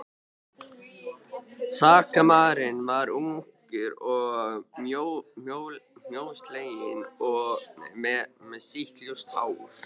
Sakamaðurinn var ungur og mjósleginn með sítt ljóst hár.